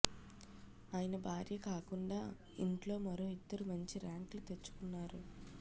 ఆయన భార్య కాకుండా ఇంట్లో మరో ఇద్దరు మంచి ర్యాంకులు తెచ్చుకొన్నారు